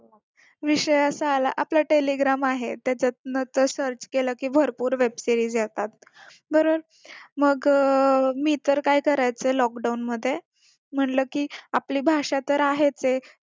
विषय असा आला आपला telegram आहे त्याच्यातन ते search केलं कि भरपूर web series येतात वरून मग मी तर काय करायचे lockdown मध्ये म्हणलं की आपली भाषा तर आहेचये